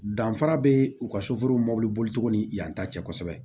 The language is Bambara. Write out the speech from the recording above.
Danfara bɛ u ka soforo mobiliboli cogo ni yan ta cɛ kosɛbɛ